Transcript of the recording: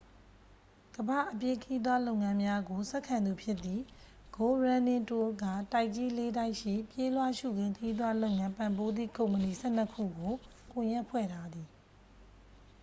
ကမ္ဘာ့ အပြေးခရီးသွားလုပ်ငန်းများကို ဆက်ခံသူဖြစ်သည့် go running tours က တိုက်ကြီး လေး တိုက်ရှိ ပြေးလွှာရှုခင်းခရီးသွားလုပ်ငန်း ပံ့ပိုးသည့် ကုမ္ပဏီ 12 ခုကို ကွန်ရက်ဖွဲ့ထားသည်